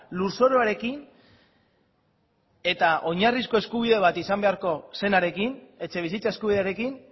lurzoruarekin eta oinarrizko eskubide bat izan beharko zenarekin etxebizitza eskubidearekin